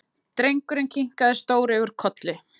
Drengurinn kinkaði stóreygur kolli.